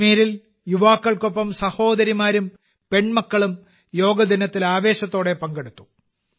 കാശ്മീരിൽ യുവാക്കൾക്കൊപ്പം സഹോദരിമാരും പെൺമക്കളും യോഗ ദിനത്തിൽ ആവേശത്തോടെ പങ്കെടുത്തു